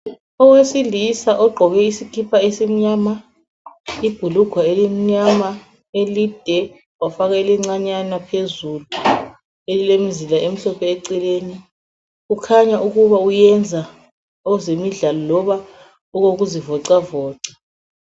Owesilisa ogqoke isikipa esimnyama ,ibhulugwe elimnyama elide ,wafaka elincinyana phezulu, elilemzila emhlophe eceleni. Kukhanya ukuba uyenza okwezemidlalo loba okokuzivoxavoxa.